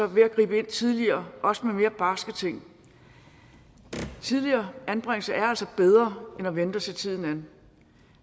ved at gribe ind tidligere også med mere barske ting tidligere anbringelser er altså bedre end at vente og se tiden an